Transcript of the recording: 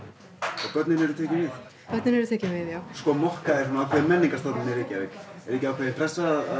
og börnin eru tekin við börnin eru tekin við já mokka er ákveðin menningarstofnun í Reykjavík er ekki ákveðin pressa